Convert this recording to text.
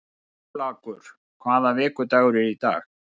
Kjallakur, hvaða vikudagur er í dag?